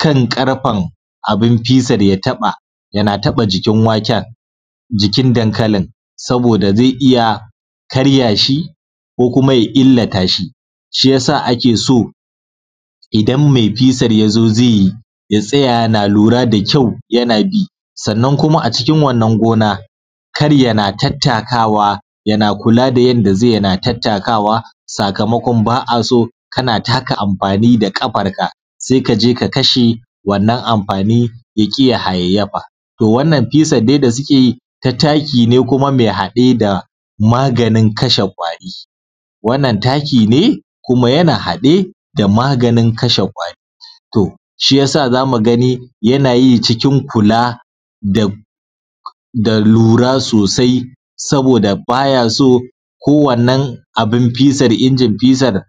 kan karfen abin ya taɓaˋ, yanaˋ taɓaˋ jikin waken, jikin dankalin, sabodaˋ zai karyaˋ shi ko kumaˋ ya illatashi, shi yasaˋ ake so idan mai fesar ya zo zai yi ya tsaya ya luraˋ da kyau kyau yanaˋ bi, sannan kumaˋ a cikin wannan gonaˋ karyaˋ yanaˋ bi yanaˋ tattakawaˋ yanaˋ sakamakon kanaˋ takaˋ amfaniˋ da ƙafarkaˋ sai ka jeˋ ka kashe wannan yaƙiˋ ya hayayyafaˋ. To wannan fesar dai da sukeˋ yi ta takiˋ ne kumaˋ mai haɗeˋ da maganin kashe kwari, wannan taki ne kuma yana hade da maganin kashe kwari to shiyasaˋ zamuˋ gai yanayi cikin kula da lura sosai saboda bayaso ko wannan abun isar ingin fisar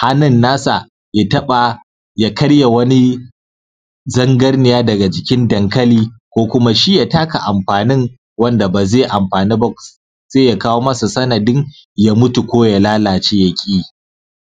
hhannun na sa ya taba ya karya wani zangarniya daga jikin dankali ko kuma shi ya taka wani amfanin anda bazai amfanuba wanda zai kawo masa sanadin ya mutu ko ya lalace yakiyi